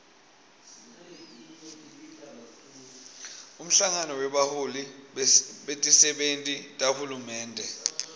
umhlangano webaholi betisebenti tahulumende